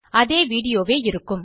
அதே வீடியோ வே இருக்கும்